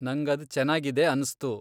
ನಂಗ್ ಅದ್ ಚೆನಾಗಿದೆ ಅನ್ಸ್ತು.